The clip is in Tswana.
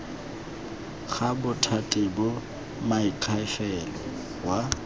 ga bothati ba moakhaefe wa